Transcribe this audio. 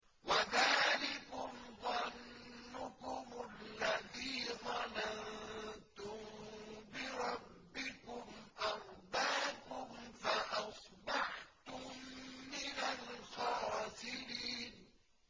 وَذَٰلِكُمْ ظَنُّكُمُ الَّذِي ظَنَنتُم بِرَبِّكُمْ أَرْدَاكُمْ فَأَصْبَحْتُم مِّنَ الْخَاسِرِينَ